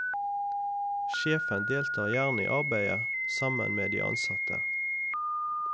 Sjefen deltar gjerne i arbeidet sammen med de ansatte.